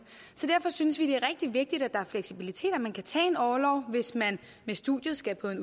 så derfor synes vi det er rigtig vigtigt at der er fleksibilitet og at man kan tage orlov hvis man med studiet skal på en